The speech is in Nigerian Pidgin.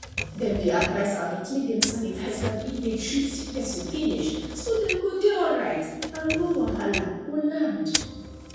dem dey advise adults make dem sanitize hand if they treat sick person finish so dem go dey alright and no wahala go land